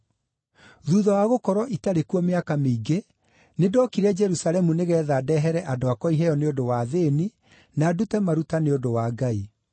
“Thuutha wa gũkorwo itarĩ kuo mĩaka mĩingĩ, nĩndokire Jerusalemu nĩgeetha ndeehere andũ akwa iheo nĩ ũndũ wa athĩĩni na ndute maruta nĩ ũndũ wa Ngai.